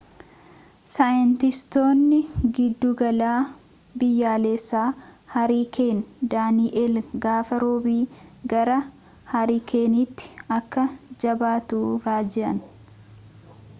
saayintistootni giddugala biyyaalessaa hariikeen daani'eel gaafa roobi gara hariikeenitti akka jabaatu raajan